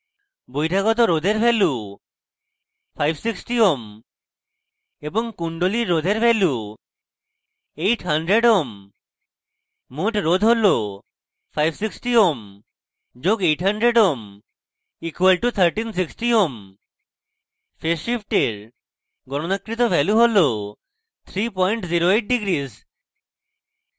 বহিরাগত রোধের value 560 ohm এবং কুণ্ডলীর রোধের value 800 ohm